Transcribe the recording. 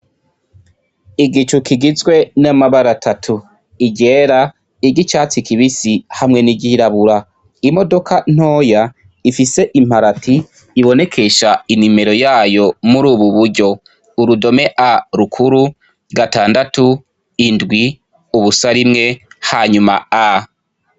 Igicu kigizwe n’amabara atatu iryera, iry’icatsi kibisi hamwe n’iryirabura. Imodoka ntoya ifise imparati ibonekesha i nomero yayo murubu buryo: urudome A rukuru, gatandatu, indwi, ubusa, rimwe hanyuma A.